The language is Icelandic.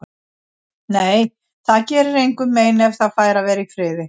Nei, það gerir engum mein ef það fær að vera í friði.